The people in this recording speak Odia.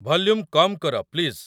ଭଲ୍ୟୁମ୍ କମ୍ କର, ପ୍ଳିଜ୍